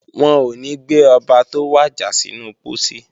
Wọn ò ní gbé Ọba tó wàjà sínú pósí